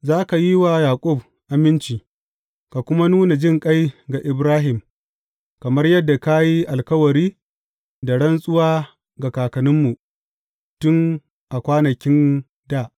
Za ka yi wa Yaƙub aminci, ka kuma nuna jinƙai ga Ibrahim, kamar yadda ka yi alkawari da rantsuwa ga kakanninmu tun a kwanankin dā.